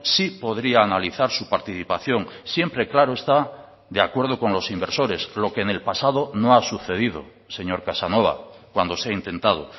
sí podría analizar su participación siempre claro está de acuerdo con los inversores lo que en el pasado no ha sucedido señor casanova cuando se ha intentado